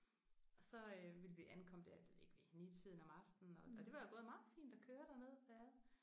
Og så ville vi ankomme der det ved jeg ikke ved 9-tiden om aftenen og og det var gået meget fint at køre derned